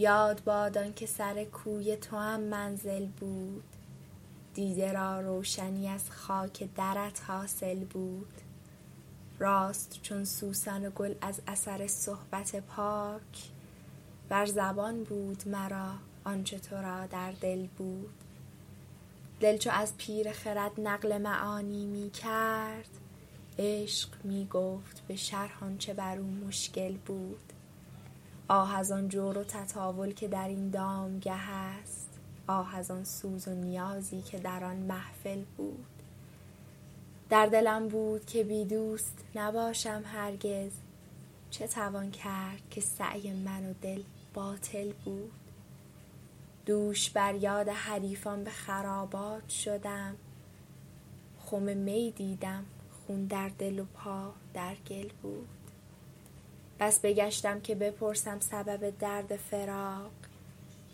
یاد باد آن که سر کوی توام منزل بود دیده را روشنی از خاک درت حاصل بود راست چون سوسن و گل از اثر صحبت پاک بر زبان بود مرا آن چه تو را در دل بود دل چو از پیر خرد نقل معانی می کرد عشق می گفت به شرح آن چه بر او مشکل بود آه از آن جور و تطاول که در این دامگه است آه از آن سوز و نیازی که در آن محفل بود در دلم بود که بی دوست نباشم هرگز چه توان کرد که سعی من و دل باطل بود دوش بر یاد حریفان به خرابات شدم خم می دیدم خون در دل و پا در گل بود بس بگشتم که بپرسم سبب درد فراق